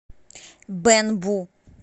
бэнбу